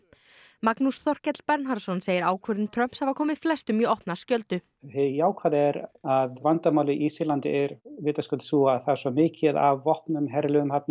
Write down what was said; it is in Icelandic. Magnús Þorkell Bernharðsson segir ákvörðun Trumps hafa komið flestum í opna skjöldu hið jákvæða er að vandamálið í Sýrlandi er vitaskuld sú að það er svo mikið af vopnum herliðum þarna